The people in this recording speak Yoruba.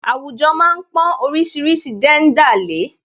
Àwùjọ má ń pọn oríṣiríṣi jẹ́ńdà lè é